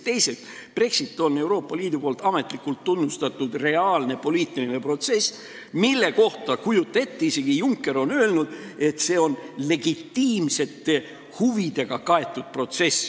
Teiseks, Brexit on Euroopa Liidus ametlikult tunnustatud reaalne poliitiline protsess, mille kohta on, kujuta ette, isegi Juncker öelnud, et see on legitiimsete huvidega kaetud protsess.